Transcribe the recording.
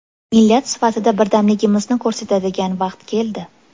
Millat sifatida birdamligimizni ko‘rsatadigan vaqt keldi.